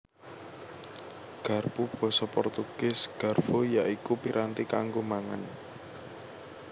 Garpu Basa Portugis Garfo ya iku piranti kanggo mangan